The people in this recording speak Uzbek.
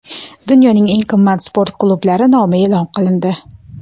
Dunyoning eng qimmat sport klublari nomi e’lon qilindi.